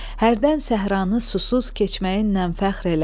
Hərdən səhranı susuz keçməyinlə fəxr elə.